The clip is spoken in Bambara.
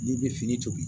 N'i bɛ fini tobi